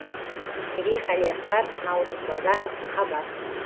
мерей қалиасқар наурыз базаров хабар